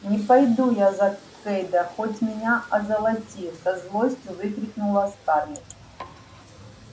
не пойду я за кэйда хоть меня озолоти со злостью выкрикнула скарлетт